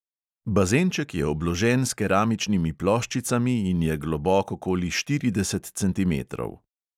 Bazenček je obložen s keramičnimi ploščicami in je globok okoli štirideset centimetrov.